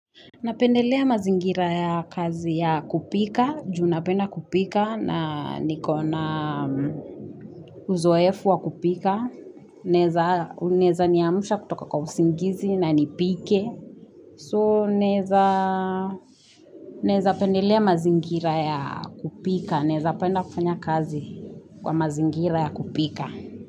Napendelea mazingira ya kazi ya kupika, juu napenda kupika na nikona uzoefu wa kupika. Naeza niamsha kutoka kwa usingizi na nipike. So naezapendelea mazingira ya kupika, naezapenda kufanya kazi kwa mazingira ya kupika.